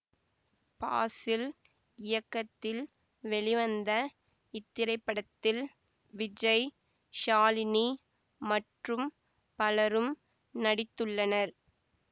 ஃபாசில் இயக்கத்தில் வெளிவந்த இத்திரைப்படத்தில் விஜய் ஷாலினி மற்றும் பலரும் நடித்துள்ளனர்